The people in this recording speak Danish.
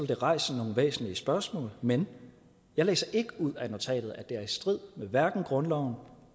det rejse nogle væsentlige spørgsmål men jeg læser ikke ud af notatet at det er i strid med grundloven